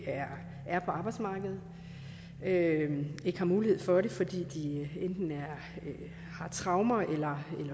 er på arbejdsmarkedet og ikke har mulighed for at være det fordi de enten har traumer eller